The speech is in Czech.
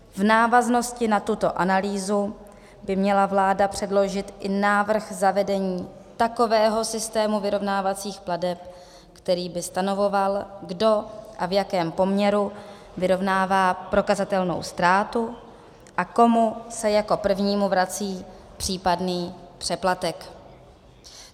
V návaznosti na tuto analýzu by měla vláda předložit i návrh zavedení takového systému vyrovnávacích plateb, který by stanovoval, kdo a v jakém poměru vyrovnává prokazatelnou ztrátu a komu se jako prvnímu vrací případný přeplatek."